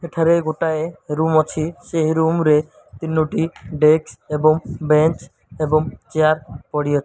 ଏଠାରେ ଗୋଟାଏ ରୁମ ଅଛି। ସେହି ରୁମ ରେ ତିନୋ ଟି ଡେସ୍କ ଏବଂ ବେଞ୍ଚ ଏବଂ ଚେୟାର ପଡ଼ିଅ --